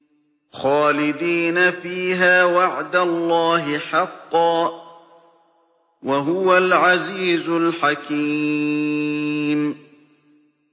خَالِدِينَ فِيهَا ۖ وَعْدَ اللَّهِ حَقًّا ۚ وَهُوَ الْعَزِيزُ الْحَكِيمُ